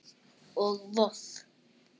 og Voff